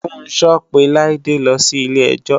Funso pe Laide lọ sí ilé-ẹjọ́